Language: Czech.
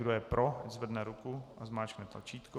Kdo je pro, ať zvedne ruku a zmáčkne tlačítko.